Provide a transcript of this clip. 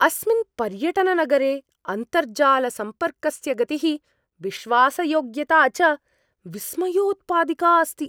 अस्मिन् पर्यटननगरे अन्तर्जालसम्पर्कस्य गतिः विश्वासयोग्यता च विस्मयोत्पादिका अस्ति।